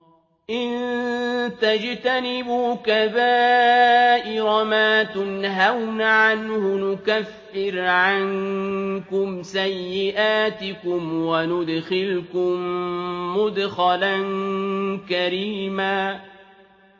إِن تَجْتَنِبُوا كَبَائِرَ مَا تُنْهَوْنَ عَنْهُ نُكَفِّرْ عَنكُمْ سَيِّئَاتِكُمْ وَنُدْخِلْكُم مُّدْخَلًا كَرِيمًا